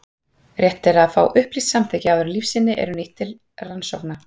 Rétt er að fá upplýst samþykki áður en lífsýni eru nýtt til rannsókna.